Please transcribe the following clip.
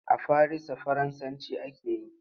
A farisa Faransanci ake yi.